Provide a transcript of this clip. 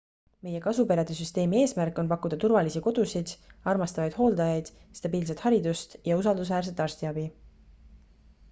meie kasuperede süsteemi eesmärk on pakkuda turvalisi kodusid armastavaid hooldajaid stabiilset haridust ja usaldusväärset arstiabi